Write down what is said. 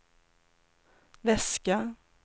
väska